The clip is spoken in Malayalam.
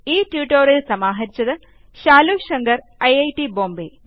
ഈ ട്യൂട്ടോറിയൽ സമാഹരിച്ചത് ശാലു ശങ്കർ ഐറ്റ് ബോംബേ